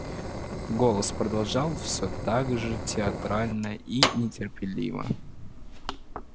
голос продолжал все так же театрально и неторопливо